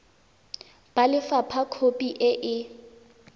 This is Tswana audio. ba lefapha khopi e e